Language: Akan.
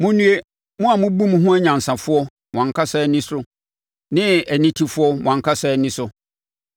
Monnue, mo a mobu mo ho anyansafoɔ, mo ankasa ani so ne anitefoɔ mo ankasa ani so.